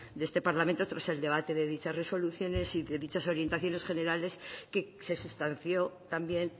de este parlamento tras el debate de dichas resoluciones y de dichas orientaciones generales que se sustanció también